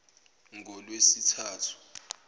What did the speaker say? ngolwesithathu